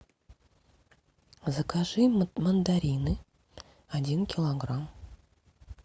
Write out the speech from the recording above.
закажи мандарины один килограмм